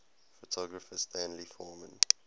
photographer stanley forman